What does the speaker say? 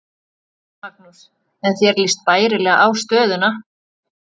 Magnús: En þér líst bærilega á stöðuna?